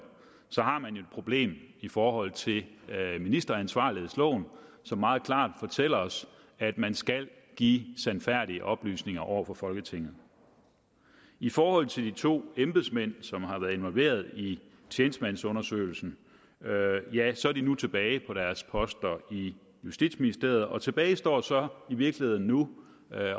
har man et problem i forhold til ministeransvarsloven som meget klart fortæller os at man skal give sandfærdige oplysninger over for folketinget i forhold til de to embedsmænd som har været involveret i tjenestemandsundersøgelsen ja så er de nu tilbage på deres poster i justitsministeriet og tilbage står så i virkeligheden nu